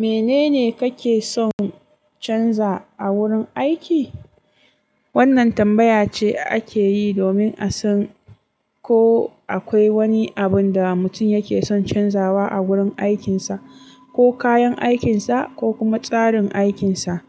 Menene kake son canza a wurin aiki? Wannan tambaya ce ake yi domin a san ko akwai wani abun da mutum yake son canzawa a wurin aikinsa, ko kayan aikinsa, ko kuma tsarin aikinsa.